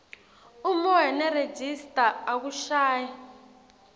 umoya nerejista akushayi